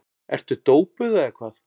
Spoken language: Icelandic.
Ertu dópuð eða hvað?